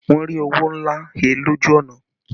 Wọn rí owó ńlá he lójú ọ̀nà